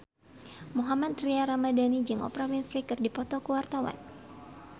Mohammad Tria Ramadhani jeung Oprah Winfrey keur dipoto ku wartawan